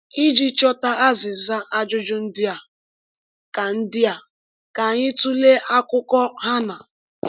Iji chọta azịza ajụjụ ndị a, ka ndị a, ka anyị tụlee akụkọ Hannạ.